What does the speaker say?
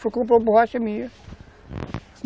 Foi comprar borracha minha.